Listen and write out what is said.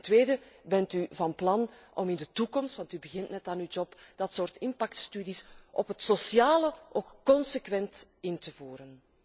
En ten tweede, bent u van plan om in de toekomst want u begint net aan uw mandaat dat soort impactstudies op het sociale vlak consequent in te voeren?